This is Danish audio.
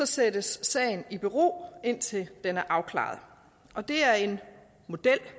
sættes sagen i bero indtil den er afklaret det er en model